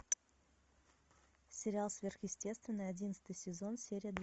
сериал сверхъестественное одиннадцатый сезон серия